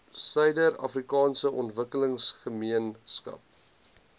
suider afrikaanse ontwikkelingsgemeenskap